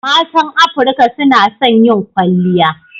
Matan Afirka suna son yin kwalliya.